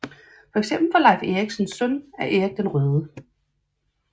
For eksempel var Leif Eriksen søn af Erik den Røde